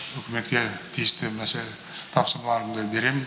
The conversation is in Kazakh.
үкіметке тиісті тапсырмаларымды беремін